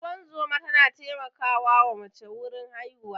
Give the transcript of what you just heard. Ingozuma ta na taimakawa wa mace wurin haihuwa.